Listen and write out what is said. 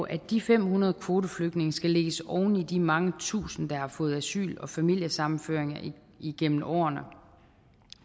at de fem hundrede kvoteflygtninge skal lægges oven i de mange tusind der har fået asyl og familiesammenføring igennem årene